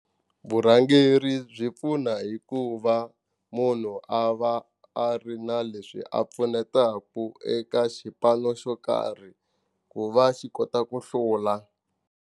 Vurhangeri byi pfuna hikuva munhu a va a ri na leswi a pfunetaku eka xipano xo karhi ku va xi kota ku hlula.